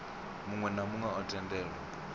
muwe na muwe o tendelwa